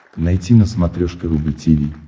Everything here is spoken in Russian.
найти на смотрешке рубль ти ви